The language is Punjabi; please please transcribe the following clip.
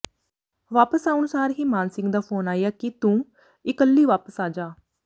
ਵਾਪਿਸ ਆਉਣ ਸਾਰ ਹੀ ਮਾਨ ਸਿੰਘ ਦਾ ਫੋਨ ਆਇਆ ਕਿ ਤੂੰ ਇਕੱਲੀ ਵਾਪਿਸ ਆ ਜਾ